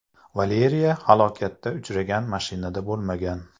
Valeriya halokatga uchragan mashinada bo‘lmagan.